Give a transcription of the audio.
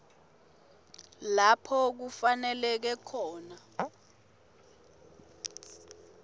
lapho kufaneleke khona